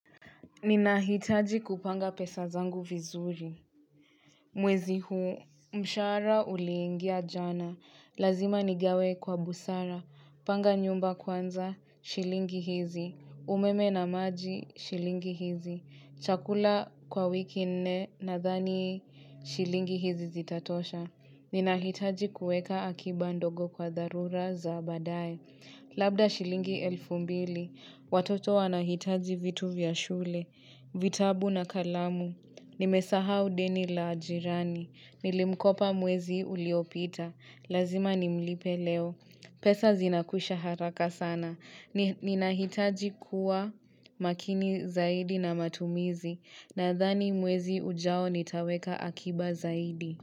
Ninahitaji kupanga pesa zangu vizuri. Mwezi huu, mshahara uliingia jana. Lazima nigawe kwa busara. Panga nyumba kwanza, shilingi hizi. Umeme na maji, shilingi hizi. Chakula kwa wiki nne nadhani, shilingi hizi zitatosha. Ninahitaji kuweka akiba ndogo kwa dharura za baadaye. Labda shilingi elfu mbili. Watoto wanahitaji vitu vya shule. Vitabu na kalamu. Nimesahau deni la jirani. Nilimkopa mwezi uliopita. Lazima nimlipe leo. Pesa zinakusha haraka sana. Ninahitaji kuwa makini zaidi na matumizi. Nadhani mwezi ujao nitaweka akiba zaidi.